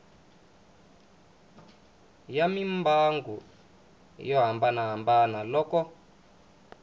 ya mimbangu yo hambanahambana loko